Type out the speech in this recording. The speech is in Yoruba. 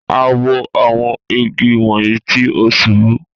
A wo awọn igi wọnni ti o ṣubu.